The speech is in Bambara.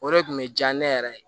O de kun be diya ne yɛrɛ ye